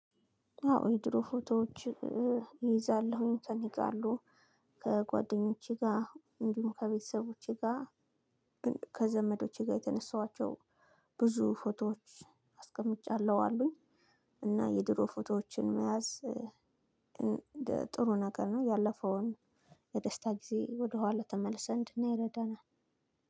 አዎ የድሮ ፎቶዎች እይዛለሁኝ ከኔ ጋር አሉ። ከጓደኞቼ ጋር እንዲሁም ከቤተሰቦቼ ጋር ከዘመዶቼ ጋር የተነሳኋቸው ብዙ ፎቶዎች አስቀምጫለሁ አሉኝ። እና የድሮ ፎቶዎችን መያዝ ጥሩ ነገር ነው። ያለፈውን የደስታ ጊዜ ወደኋላ ተመልሰን እንድናይ ይረዳናል።